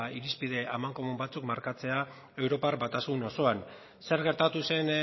irizpide amankomun batzuk markatzea europar batasun osoan zer gertatu zen